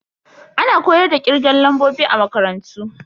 Ana koyar da kirgen lambobi a makarantu.